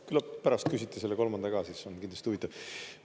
Küllap pärast küsiti selle kolmanda ka, siis on kindlasti huvitav.